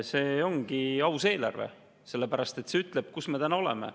See ongi aus eelarve, sellepärast et see ütleb, kus me täna oleme.